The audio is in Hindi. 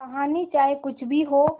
कहानी चाहे कुछ भी हो